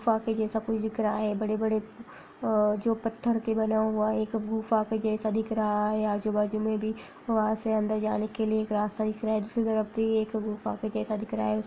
गुफा जैसा कोई दिख रहा है बड़े-बड़े अ जो पत्थर के बने हुआ है एक गुफा के जैसा दिख रहा है आजू-बाजू में भी वहाँ से अंदर जाने के लिए एक रास्ता दिख रहा है दूसरी तरफ भी एक गुफा के जैसा दिख रहा है।